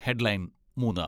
headline മൂന്ന്